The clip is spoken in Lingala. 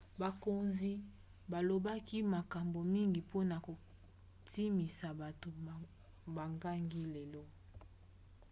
bakonzi balobaki makambo mingi mpona kondimisa bato bakangi lelo